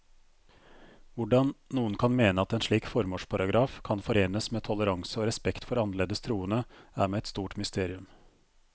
Hvordan noen kan mene at en slik formålsparagraf kan forenes med toleranse og respekt for annerledes troende, er meg et stort mysterium.